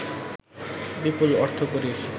বিপুল অর্থকড়ির